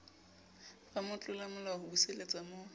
ba motlolamolao ho buseletsa mo